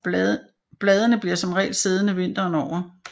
Bladene bliver som regel siddende vinteren over